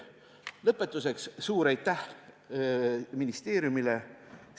Lõpetuseks: suur aitäh ministeeriumile!